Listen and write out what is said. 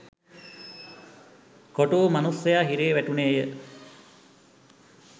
කොටුවූ මනුස්‌සයා හිරේ වැටුණේය